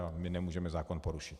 A my nemůžeme zákon porušit.